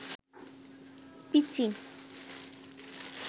পিচ্চি